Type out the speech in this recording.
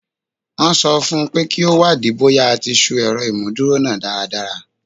Wọ́n sọ fún un pé kí ó wádìí bóyá a ti ṣú ẹ̀rọ ìmúdúró náà dáradára